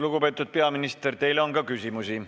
Lugupeetud peaminister, teile on ka küsimusi.